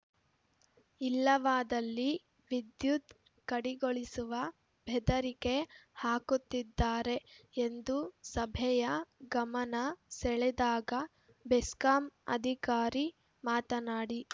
ಇಲ್ಲವಾದಲ್ಲಿ ವಿದ್ಯುತ್‌ ಕಡಿಗೊಳಿಸುವ ಬೆದರಿಕೆ ಹಾಕುತ್ತಿದ್ದಾರೆ ಎಂದು ಸಭೆಯ ಗಮನ ಸೆಳೆದಾಗ ಬೆಸ್ಕಾಂ ಅಧಿಕಾರಿ ಮಾತನಾಡಿ